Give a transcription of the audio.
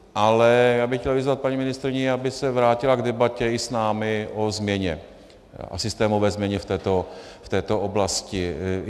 Ale já bych chtěl vyzvat paní ministryni, aby se vrátila k debatě i s námi o změně, o systémové změně v této oblasti.